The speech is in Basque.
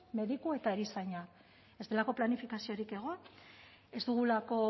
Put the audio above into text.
mediku eta erizainak bestelako planifikaziorik egon ez dugulako